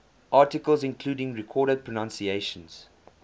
articles including recorded pronunciations